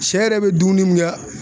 Sɛ yɛrɛ bi dumuni min kɛ